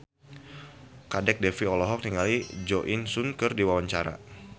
Kadek Devi olohok ningali Jo In Sung keur diwawancara